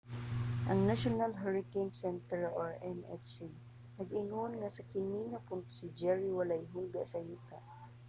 ang national hurricane center nhc nag-ingon nga sa kini nga punto si jerry walay hulga sa yuta